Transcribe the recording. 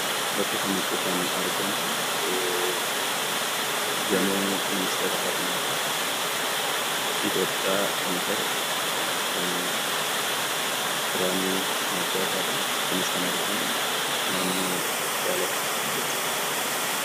Bakka kanatti kan argamu gamoo Ministeera Barnootaa Itoophiyaadha. Bakki argamni isaas naannoo Daalattiidha.